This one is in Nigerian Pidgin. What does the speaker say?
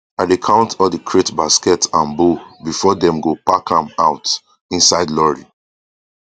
i dey count all the crate basket and bowl before dem go pack am out inside lorry